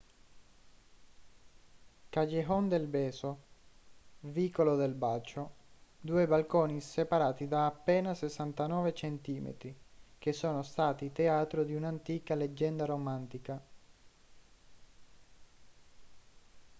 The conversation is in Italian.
callejon del beso vicolo del bacio. due balconi separati da appena 69 centimetri che sono stati teatro di un'antica leggenda romantica